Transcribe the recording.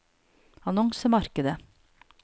annonsemarkedet